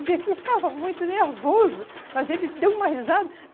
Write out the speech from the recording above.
Ele estava muito nervoso, mas ele deu uma risada.